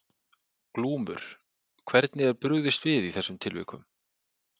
Glúmur: Hvernig er brugðist við í þessum tilvikum?